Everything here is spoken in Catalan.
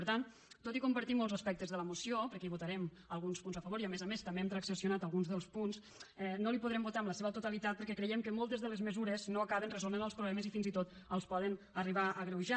per tant tot i compartir molts aspectes de la moció perquè hi votarem alguns punts a favor i a més a més també hem transaccionat alguns dels punts no la hi podrem votar en la seva totalitat perquè creiem que moltes de les mesures no acaben resolent els problemes i fins i tot els poden arribar a agreujar